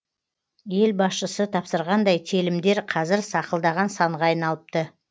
ел басшысы тапсырғандай телімдер қазір сақылдаған санға айналыпты